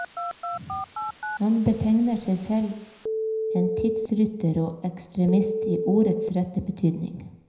Han betegner seg selv en tidsrytter og ekstremist, i ordets rette betydning.